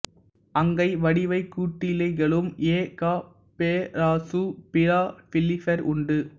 அங்கைவடிவ கூட்டிலை களும் எ கா பொராசசு பிலாபெல்லிஃபெர் உண்டு